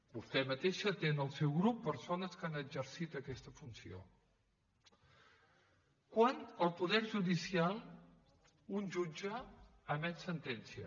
vostè mateixa té en el seu grup persones que han exercit aquesta funció quan el poder judicial un jutge emet sentència